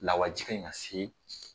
Lawaji ka ɲi ka se